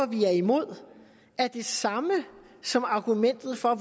vi er imod er det samme som argumentet for at